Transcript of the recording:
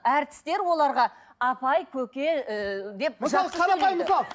әртістер оларға апай көке ыыы деп